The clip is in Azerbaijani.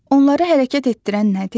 Onları hərəkət etdirən nədir?